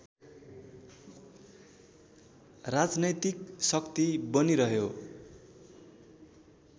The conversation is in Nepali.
राजनैतिक शक्ति बनिरह्यो